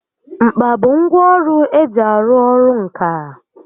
Mkpa bụ ngwá ọrụ eji arụ ọrụ ǹkà